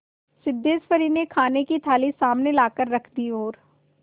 सिद्धेश्वरी ने खाने की थाली सामने लाकर रख दी और